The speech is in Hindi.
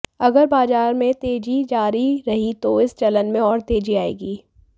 अगर बाजार में तेजी जारी रही तो इस चलन में और तेजी आएगी